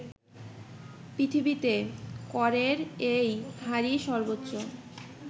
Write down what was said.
পৃথিবীতে করের এই হারই সর্বোচ্চ